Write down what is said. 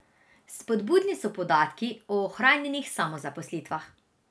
Spodbudni so podatki o ohranjenih samozaposlitvah.